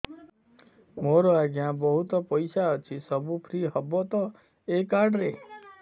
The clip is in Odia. ମୋର ଆଜ୍ଞା ବହୁତ ପଇସା ଅଛି ସବୁ ଫ୍ରି ହବ ତ ଏ କାର୍ଡ ରେ